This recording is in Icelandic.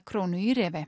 krónu í